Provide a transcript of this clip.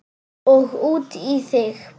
Og út í þig.